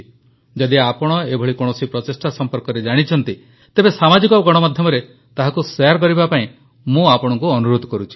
ଯଦି ଆପଣ ଏଭଳି କୌଣସି ପ୍ରଚେଷ୍ଟା ସମ୍ପର୍କରେ ଜାଣିଛନ୍ତି ତେବେ ସାମାଜିକ ଗଣମାଧ୍ୟମରେ ତାହାକୁ ଶେୟାର କରିବା ପାଇଁ ମୁଁ ଆପଣଙ୍କୁ ଅନୁରୋଧ କରୁଛି